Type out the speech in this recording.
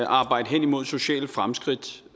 arbejde hen imod sociale fremskridt